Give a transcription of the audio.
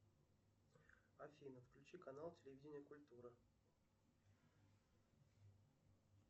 афина включи канал телевидение культура